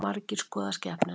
Margir skoða skepnuna